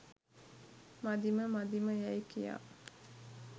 මදිම මදිම යැයි කියා